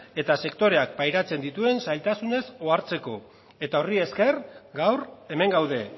eta sektoreak pairatzen dituen zailtasunez ohartzeko eta horri esker gaur hemen gaude